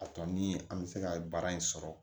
A tɔ ni an bɛ se ka baara in sɔrɔ